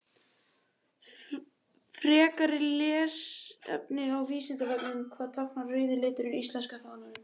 Frekara lesefni á Vísindavefnum: Hvað táknar rauði liturinn í íslenska fánanum?